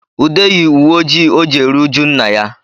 Ude yi uwe ojii o ji eri ụjụ nna ya